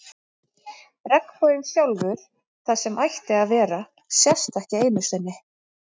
Regnboginn sjálfur, það sem ætti að vera, sést ekki einu sinni.